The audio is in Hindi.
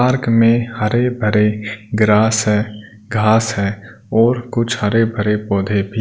पार्क में हरे भरे ग्रास है घास है और कुछ हरे भरे पौधे भी--